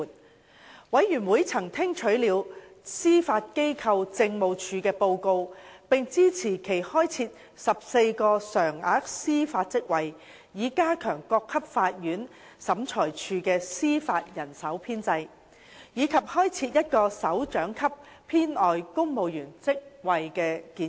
事務委員會曾聽取了司法機構政務處的報告，並支持其開設14個常額司法職位以加強各級法院/審裁處的司法人手編制，以及開設1個首長級編外公務員職位的建議。